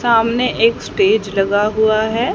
सामने एक स्टेज लगा हुआ है।